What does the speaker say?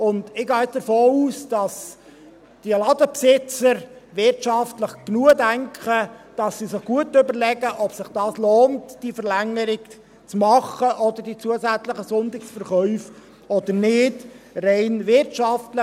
Ich gehe davon aus, dass die Ladenbesitzer wirtschaftlich genug denken und sich gut überlegen, ob es sich rein wirtschaftlich lohnt, diese Verlängerung oder die zusätzlichen Sonntagsverkäufe zu machen oder nicht.